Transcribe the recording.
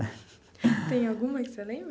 Tem alguma que você lembra?